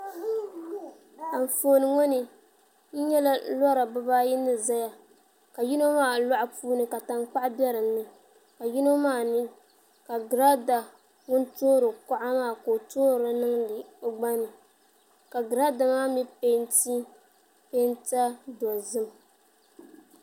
Anfooni ŋo ni n nyɛla lora bibaayi ni ʒɛya ka yino maa loɣu puuni ka tankpaɣu bɛ dinni ka yino maa mii ka girada ŋun toori kuɣa maa ka o toori niŋdi o gba ni ka giraada maa mii peenti peenta dozim